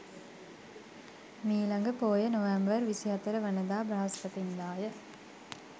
මීළඟ පෝය නොවැම්බර් 24 වනදා බ්‍රහස්පතින්දාය.